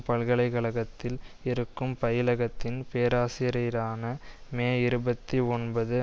பல்கலை கழகத்தில் இருக்கும் பயிலகத்தின் பேராசிரியரான மே இருபத்தி ஒன்பது